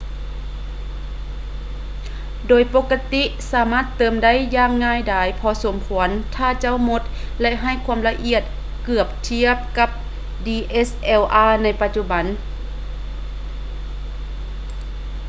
ໂດຍປົກກະຕິສາມາດເຕີມໄດ້ຢ່າງງ່າຍດາຍພໍສົມຄວນຖ້າເຈົ້າໝົດ ແລະ ໃຫ້ຄວາມລະອຽດເກືອບທຽບກັບ dslr ໃນປະຈຸບັນ